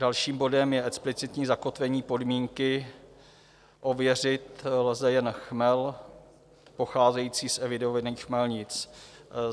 Dalším bodem je explicitní zakotvení podmínky - ověřit lze jen chmel pocházející z evidovaných chmelnic.